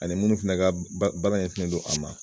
Ani mununu fɛnɛ ka baara ɲɛsinnen don a ma.